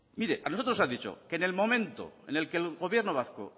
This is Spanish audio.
a nosotros nos ha dicho que en el momento en el que el gobierno vasco